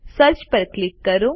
search પર click કરો